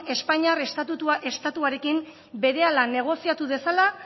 espainiar estatuarekin berehala negoziatu dezala